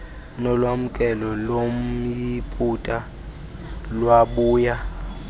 nolwamkelo lomyiputa lwabuya